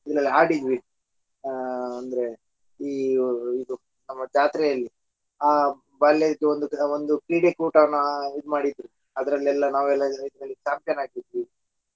ಇದರಲ್ಲಿ ಆಡಿದ್ವಿ ಆಹ್ ಅಂದ್ರೆ ಈ ಇದು ನಮ್ಮ ಜಾತ್ರೆಯಲ್ಲಿ ಆ ಬಾಲ್ಯದ ಒಂದು ಒಂದು ಕ್ರೀಡಾಕೂಟವನ್ನು ಇದು ಮಾಡಿದ್ರು ಅದರಲ್ಲೆಲ್ಲಾ ನಾವು champion ಆಗಿದ್ವಿ .